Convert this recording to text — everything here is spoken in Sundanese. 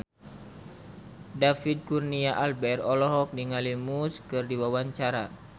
David Kurnia Albert olohok ningali Muse keur diwawancara